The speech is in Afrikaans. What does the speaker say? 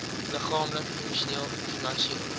liggaamlik emosioneel finansieel